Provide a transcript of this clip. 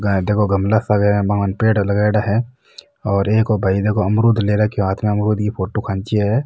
देखो गमला सा है बा कन पेड़ लगाईडा है और एक ओ भाई अमरुद ले रखो है हाथ में अमरुद की फोटो खींची है।